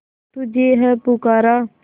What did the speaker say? तुझे है पुकारा